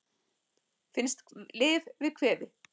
Finnst lyf við kvefi